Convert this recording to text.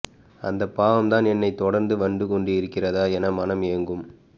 அந்தப் பாவம்தான் என்னைத் தொடர்ந்து வந்து கொண்டிருக்கிறதா என மனம் ஏங்கும்